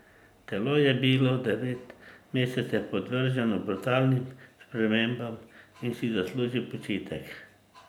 Telo je bilo devet mesecev podvrženo brutalnim spremembam in si zasluži počitek.